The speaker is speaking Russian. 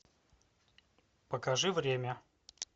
покажи время